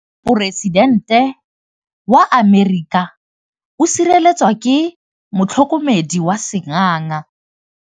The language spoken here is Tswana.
Poresitêntê wa Amerika o sireletswa ke motlhokomedi wa sengaga.